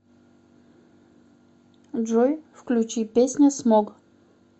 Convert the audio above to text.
джой включи песня смог